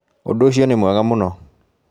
Ũndũ ũcio nĩ mwega mũno